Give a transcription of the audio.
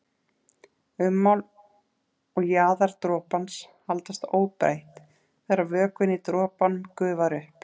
Ummál og jaðar dropans haldast óbreytt þegar vökvinn í dropanum gufar upp.